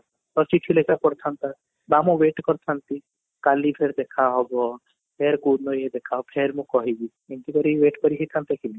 ତ ଚିଠି ଲେଖିବା କୁ ପଡିଥାନ୍ତା ନା ମୁଁ wait କରିଥାନ୍ତି କାଲି ଫେର ଦେଖା ହବ ଫେର କୋଉ ଦିନ ଯେ ଦେଖା ହବ ଫେର ମୁଁ କହିବି ଏମିତି କରିକି wait କରିକି ଥାନ୍ତି କି ମୁଁ?